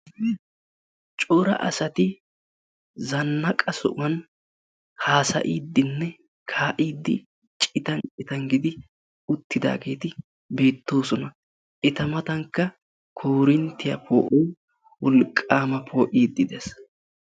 Cora asati zannaqa sohuwan haasayiiddinna kaa"iiddi citan citan gidi uttidaageeti beettoosona. Eta matankka koorinttiya poo"oy wolqaama poo'iiddi dees.